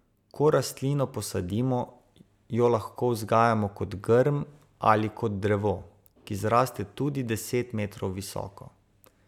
Ko rastlino posadimo, jo lahko vzgajamo kot grm ali kot drevo, ki zraste tudi deset metrov visoko.